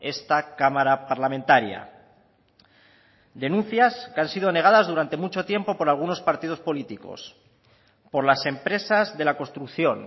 esta cámara parlamentaria denuncias que han sido negadas durante mucho tiempo por algunos partidos políticos por las empresas de la construcción